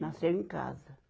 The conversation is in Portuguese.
Nasceu em casa.